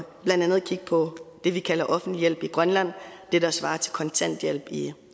blandt andet kigge på det vi kalder offentlig hjælp i grønland det der svarer til kontanthjælp i